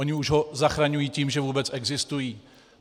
Oni už ho zachraňují tím, že vůbec existují.